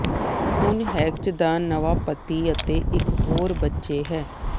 ਹੁਣ ਹੈਕਚ ਦਾ ਨਵਾਂ ਪਤੀ ਅਤੇ ਇਕ ਹੋਰ ਬੱਚੇ ਹੈ